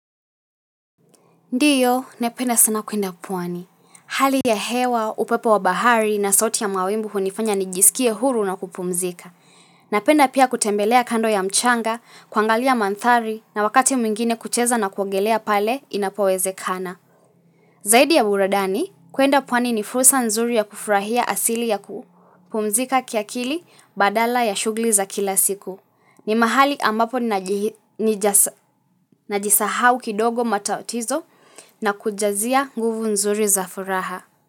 Ndiyo, napenda sana kuenda pwani. Hali ya hewa, upepo wa bahari na sauti ya mawimbu hunifanya nijisikie huru na kupumzika. Napenda pia kutembelea kando ya mchanga, kuangalia mandhari na wakati mwingine kucheza na kuogelea pale inapowezekana. Zaidi ya buradani, kuenda pwani ni fursa nzuri ya kufurahia asili ya kupumzika kiakili badala ya shughuli za kila siku. Ni mahali ambapo najisahau kidogo matatizo na kujazia nguvu nzuri za furaha.